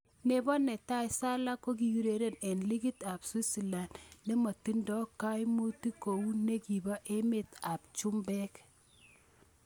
Nebo tai Salah kokiureren eng' ligit ab Switzerland, nemotindo kaimutik kou nikibo emet ab chumbek.